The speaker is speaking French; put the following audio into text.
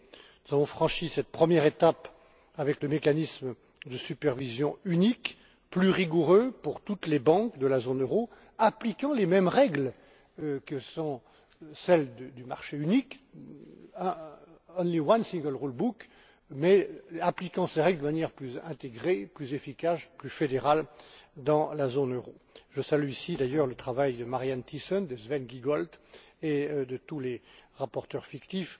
Nous avons franchi cette première étape avec le mécanisme de supervision unique, plus rigoureux pour toutes les banques de la zone euro, appliquant les mêmes règles que celles du marché unique, only one single rule book mais appliquant ces règles de manière plus intégrée, plus efficace et plus fédérale dans la zone euro. Je salue ici, d'ailleurs, le travail de MarianneThyssen, de SvenGiegold et de tous les rapporteurs fictifs